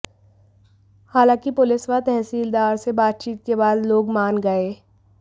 हालांकि पुलिस व तहसीलदार से बातचीत के बाद लोग मान गए